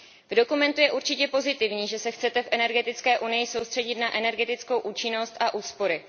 V dokumentu je určitě pozitivní, že se chcete v energetické unii soustředit na energetickou účinnost a úspory.